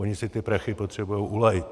Oni si ty prachy potřebují ulít.